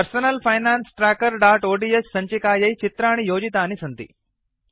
personal finance trackerओड्स् सञ्चिकायै चित्राणि योजितानि सन्ति